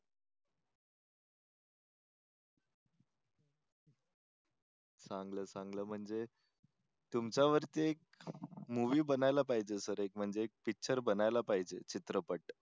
चांगलं आहे चांगलं आहे म्हणजे तुमच्यावरती मूवी बनायला पाहिजे सर एक म्हणजे पिक्चर बनायला पाहिजे. चित्रपट.